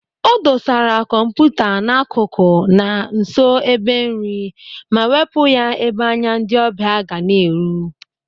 O dosara kọmputa n'akụkụ na nso ebe nri ma wepụ ya ebe anya ndị ọbịa ga na-eru.